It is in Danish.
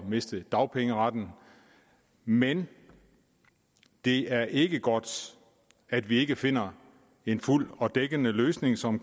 miste dagpengeretten men det er ikke godt at vi ikke finder en fuld og dækkende løsning som